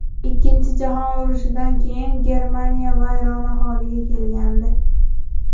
Ikkinchi jahon urushidan keyin Germaniya vayrona holiga kelgandi.